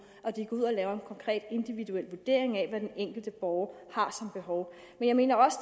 og at de går ud og laver en konkret individuel vurdering af hvad den enkelte borger har som behov jeg mener også